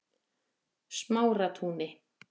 Smáratúni